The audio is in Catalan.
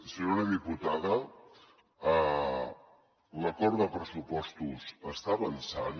senyora diputada l’acord de pressupostos està avançant